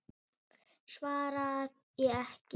Svaraði ekki.